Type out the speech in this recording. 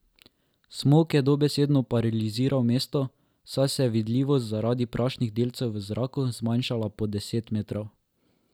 Smog je dobesedno paraliziral mesto, saj se je vidljivost zaradi prašnih delcev v zraku zmanjšala pod deset metrov.